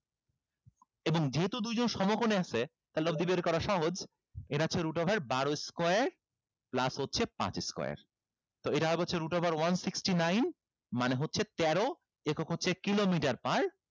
এবং যেহেতু দুইজন সমকোণে আছে লব্ধি বের করা সহজ এরা হচ্ছে root over বারো square plus হচ্ছে পাঁচ square তো এরা হচ্ছে root over one sixty nine মানে হচ্ছে তেরো একক হচ্ছে kilomitre per